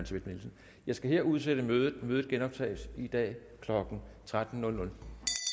schmidt nielsen jeg skal her udsætte mødet mødet genoptages i dag klokken tretten